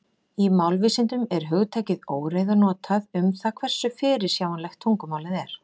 Í málvísindum er hugtakið óreiða notað um það hversu fyrirsjáanlegt tungumálið er.